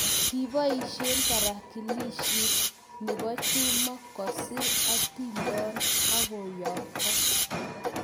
Kiboisie tarakilishit ne bo Juma koser atindon akuyookto.